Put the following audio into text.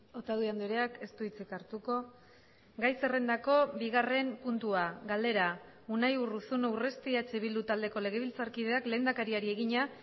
otadui andreak ez du hitzik hartuko gai zerrendako bigarren puntua galdera unai urruzuno urresti eh bildu taldeko legebiltzarkideak lehendakariari egina